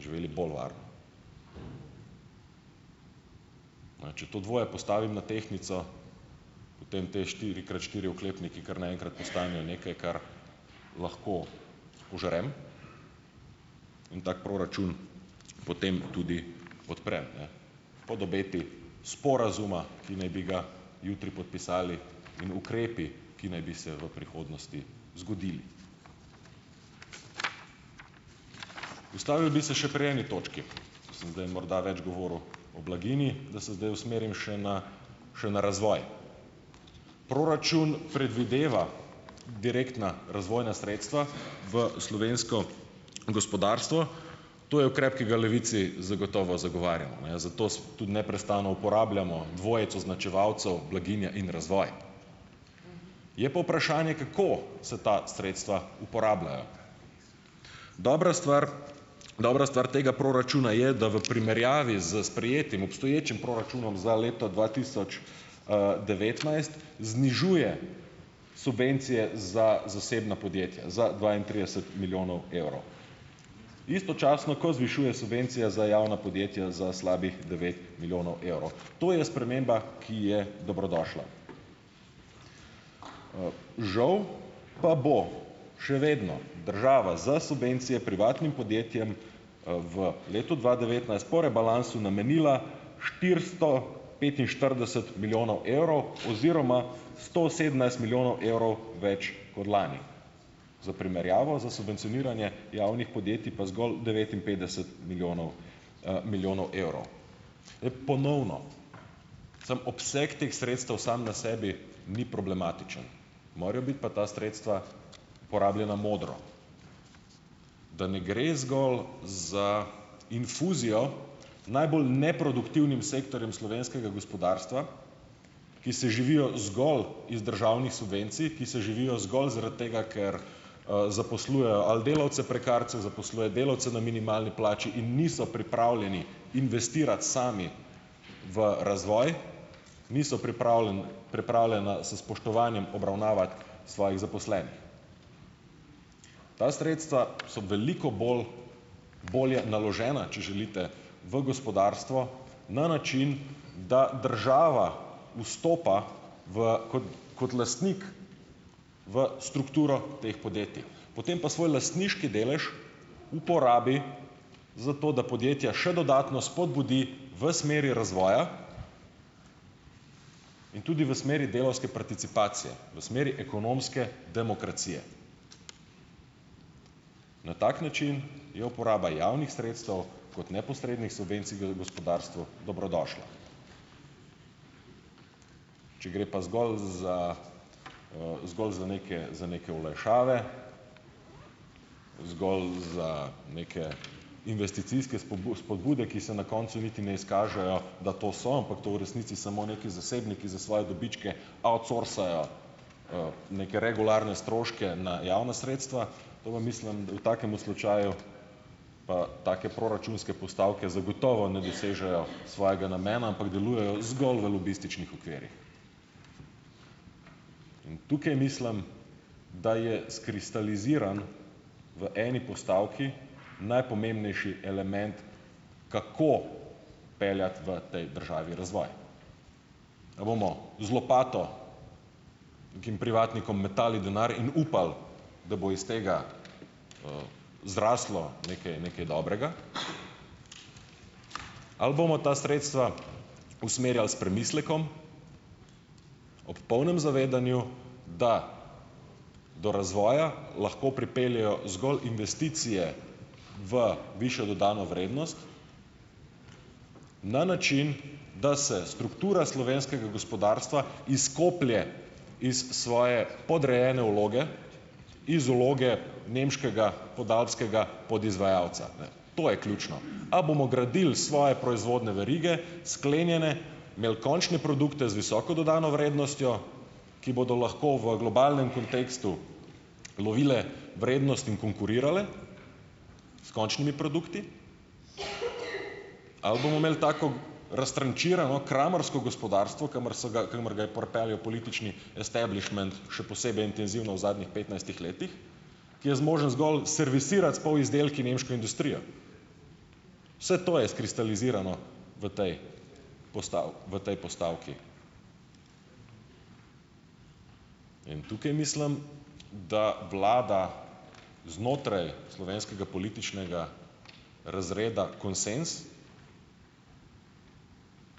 živeli bolj varno. Če to dvoje postavim na tehtnico, potem te štiri krat štiri oklepniki kar naenkrat postanejo nekaj, kar lahko požrem in tako proračun potem tudi podprem, ne pod obeti sporazuma, ki naj bi ga jutri podpisali, in ukrepi, ki naj bi se v prihodnosti zgodili. Ustavil bi se še pri eni točki, ko sem zdaj morda več govoril o blaginji, da se zdaj usmerim še na še na razvoj. Proračun predvideva direktna razvojna sredstva v slovensko gospodarstvo. To je ukrep, ki ga Levici zagotovo zagovarjamo, ne, zato tudi neprestano uporabljamo dvojec označevalcev, blaginja in razvoj. Je pa vprašanje, kako se ta sredstva uporabljajo. Dobra stvar, dobra stvar tega proračuna je, da v primerjavi s sprejetim obstoječim proračunom za leto dva tisoč devetnajst znižuje subvencije za zasebna podjetja za dvaintrideset milijonov evrov, istočasno, ko zvišuje subvencije za javna podjetja za slabih devet milijonov evrov. To je sprememba, ki je dobrodošla. Žal pa bo še vedno država za subvencije privatnim podjetjem v letu dva devetnajst po rebalansu namenila štiristo petinštirideset milijonov evrov, oziroma sto sedemnajst milijonov evrov več kot lani. Za primerjavo, za subvencioniranje javnih podjetij pa zgolj devetinpetdeset milijonov milijonov evrov. Ponovno, sam obseg teh sredstev sam na sebi ni problematičen, morajo biti pa ta sredstva porabljena modro, da ne gre zgolj za infuzijo najbolj neproduktivnim sektorjem slovenskega gospodarstva, ki se živijo zgolj iz državnih subvencij, ki se živijo zgolg zaradi tega, ker zaposlujejo ali delavce prekarce, zaposluje delavce na minimalni plači in niso pripravljeni investirati sami v razvoj, niso pripravljeni pripravljena s spoštovanjem obravnavati svojih zaposlenih. Ta sredstva so veliko bolj bolje naložena, če želite, v gospodarstvo, na način, da država vstopa v kot kot lastnik v strukturo teh podjetij, potem pa svoj lastniški delež uporabi, zato da podjetja še dodatno spodbudi v smeri razvoja in tudi v smeri delavske participacije, v smeri ekonomske demokracije. Na tak način je uporaba javnih sredstev kot neposrednih subvencij v gospodarstvu dobrodošla. Če gre pa zgolj za zgolj za neke za neke olajšave, zgolj za neke investicijske spodbude, ki se na koncu niti ne izkažejo, da to so, ampak to v resnici samo nekaj zasebniki za svoje dobičke outsourcajo neke regularne stroške na javna sredstva, to pa mislim, da v takemu slučaju, pa take proračunske postavke zagotovo ne dosežejo svojega namena, ampak delujejo zgolj v lobističnih okvirih in tukaj mislim, da je skristaliziran v eni postavki najpomembnejši element, kako peljati v tej državi razvoj. Ga bomo z lopato kim privatnikom metali denar in upali, da bo iz tega zraslo nekaj nekaj dobrega? Ali bomo ta sredstva usmerjali s premislekom, ob polnem zavedanju, da do razvoja lahko pripeljejo zgolj investicije v višjo dodano vrednost, na način, da se struktura slovenskega gospodarstva izkoplje iz svoje podrejene vloge, iz vloge nemškega podalpskega podizvajalca. Ne, to je ključno. A bomo gradili svoje proizvodne verige, sklenjene, imeli končne produkte z visoko dodano vrednostjo, ki bodo lahko v globalnem kontekstu lovile vrednosti in konkurirale s končnimi produkti? Ali bomo imeli tako, raztrančirano kramarsko gospodarstvo, kamor so ga, kamor ga je pripeljal politični establishment še posebej intenzivno v zadnjih petnajstih letih? Ki je zmožen zgolj servisirati s polizdelki nemško industrijo? Vse to je skristalizirano v tej v tej postavki in tukaj mislim, da vlada znotraj slovenskega političnega razreda konsenz,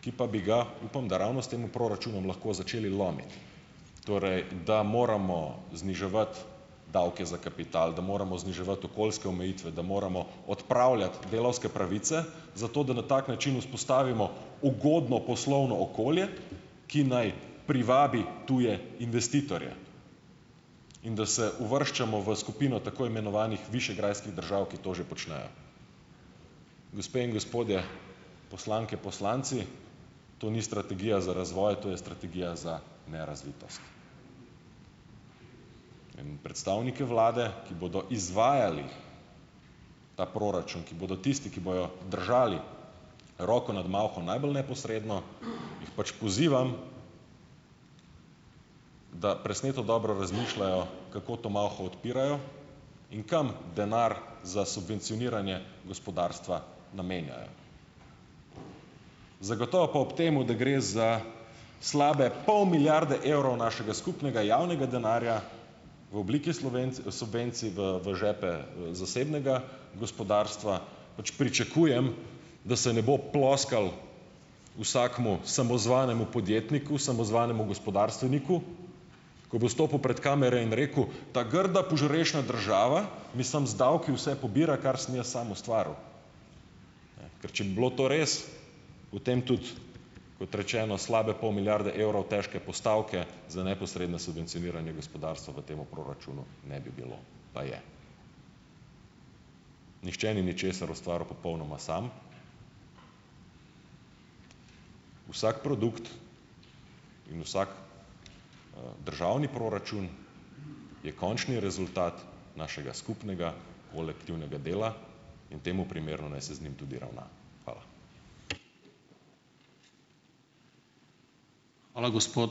ki pa bi ga, upam da ravno s temu proračunom, lahko začeli lomiti. Torej, da moramo zniževati davke za kapital, da moramo zniževati okoljske omejitve, da moramo odpravljati delavske pravice, zato, da na tak način vzpostavimo ugodno poslovno okolje, ki naj privabi tuje investitorje, in da se uvrščamo v skupino tako imenovanih višegrajskih držav, ki to že počnejo. Gospe in gospodje, poslanke, poslanci - to ni strategija za razvoj, to je strategija za nerazvitost. In predstavniki Vlade, ki bodo izvajali ta proračun, ki bodo tisti, ki bojo držali roko nad malho najbolj neposredno, jih pač pozivam, da presneto dobro razmišljajo, kako to malho odpirajo in kam denar za subvencioniranje gospodarstva namenjajo. Zagotovo pa ob temu, da gre za slabe pol milijarde evrov našega skupnega javnega denarja, v obliki subvencij v v žepe zasebnega gospodarstva, pač pričakujem, da se ne bo ploskalo vsakemu samozvanemu podjetniku, samozvanemu gospodarstveniku, ko bo stopil pred kamere in rekel, ta grda požrešna država, mislim, z davki vse pobira, kar sem jaz sam ustvaril. Ker če bi bilo to res, potem tudi, kot rečeno, slabe pol milijarde evrov težko postavke za neposredno subvencioniranje gospodarstva v tem proračunu ne bi bilo, pa je. Nihče ni ničesar ustvaril popolnoma sam. Vsak produkt in vsak državni proračun je končni rezultat našega skupnega kolektivnega dela in temu primerno naj se z njim tudi ravna. Hvala.